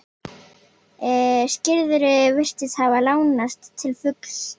Skurðurinn virtist hafa lánast til fulls.